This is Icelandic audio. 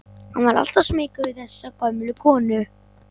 Hann var alltaf smeykur við þessa gömlu konu.